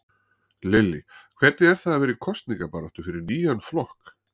Lillý: Hvernig er það vera í kosningabaráttu fyrir nýjan flokk?